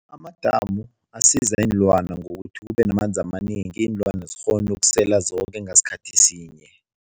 Amadamu asiza iinlwana ngokuthi kubenamanzi amanengi, iinlwana zikghone ukusela zoke ngasikhathi sinye.